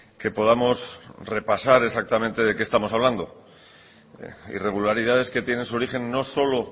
que podamos repasar exactamente de qué estamos hablando irregularidades que tienen su origen no solo